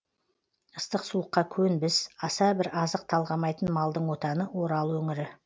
ыстық суыққа көнбіс аса бір азық талғамайтын малдың отаны орал өңірі